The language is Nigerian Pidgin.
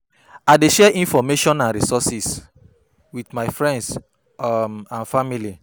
I dey share information and resources with my friends um and family.